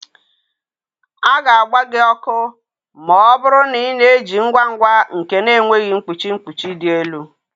A ga-agba gị ọkụ ma ọ bụrụ na ị na-eji ngwa ngwa nke na-enweghị mkpuchi mkpuchi dị elu.